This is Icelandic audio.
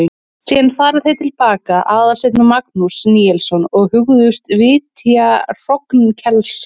Síðan fara þeir til baka, Aðalsteinn og Magnús Níelsson, og hugðust vitja hrognkelsa.